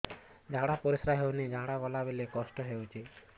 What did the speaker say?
ଝାଡା ପରିସ୍କାର ହେଉନି ଝାଡ଼ା ଗଲା ବେଳେ କଷ୍ଟ ହେଉଚି